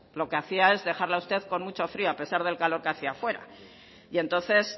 lo que hacía es dejarla a usted con mucho frío a pesar del calor que hacía fuera y entonces